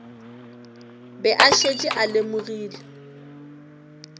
be a šetše a lemogile